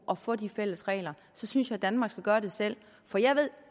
at få de fælles regler i så synes jeg danmark skal gøre det selv for jeg ved